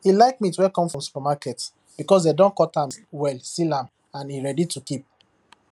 e like meat wey come from supermarket because dem don cut am well seal am and e ready to keep